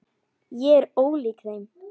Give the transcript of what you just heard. Ég er ólík þeim.